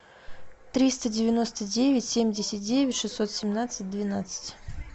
триста девяносто девять семьдесят девять шестьсот семнадцать двенадцать